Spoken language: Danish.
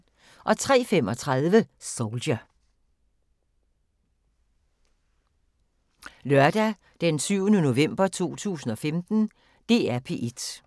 Lørdag d. 7. november 2015